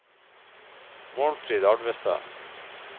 Målfrid Alvestad